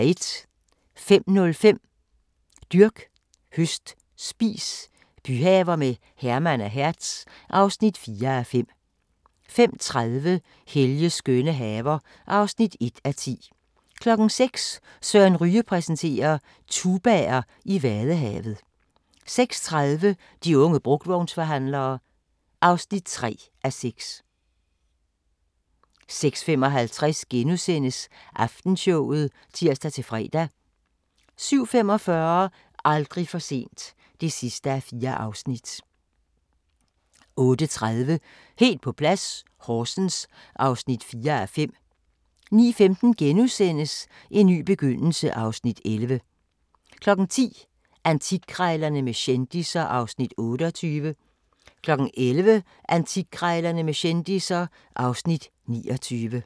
05:05: Dyrk, høst, spis – byhaver med Herman og Hertz (4:5) 05:30: Helges skønne haver (1:10) 06:00: Søren Ryge præsenterer: Tubaer i Vadehavet 06:30: De unge brugtvognsforhandlere (3:6) 06:55: Aftenshowet *(tir-fre) 07:45: Aldrig for sent (4:4) 08:30: Helt på plads - Horsens (4:5) 09:15: En ny begyndelse (Afs. 11)* 10:00: Antikkrejlerne med kendisser (Afs. 28) 11:00: Antikkrejlerne med kendisser (Afs. 29)